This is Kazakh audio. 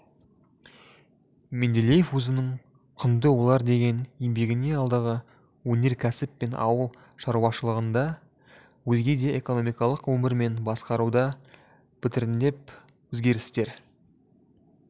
менделеев өзінің құнды ойлар деген еңбегінде алдағы өнеркәсіп пен ауыл шаруашылығында өзге де экономикалық өмір мен басқаруда біртіндеп өзгерістер